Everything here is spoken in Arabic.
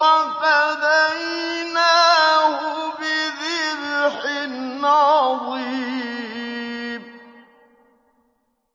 وَفَدَيْنَاهُ بِذِبْحٍ عَظِيمٍ